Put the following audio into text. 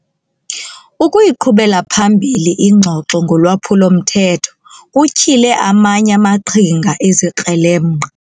Ukuyiqhubela phambili ingxoxo ngolwaphulo-mthetho kutyhile amanye amaqhinga ezikrelemnqa.